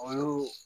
O y'o